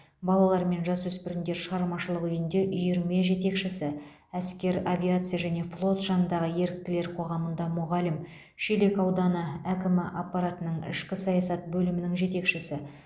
балалар мен жасөспірімдер шығармашылық үйінде үйірме жетекшісі әскер авиация және флот жанындағы еріктілер қоғамында мұғалім шелек ауданы әкім аппаратының ішкі саясат бөлімінің жетекшісі